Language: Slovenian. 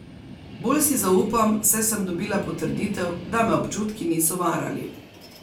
Bolj si zaupam, saj sem dobila potrditev, da me občutki niso varali.